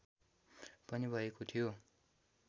पनि भएको थियो